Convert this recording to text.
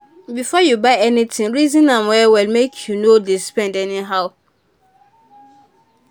before you buy anything reason am well make you no dey spend anyhow.